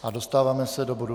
A dostáváme se do bodu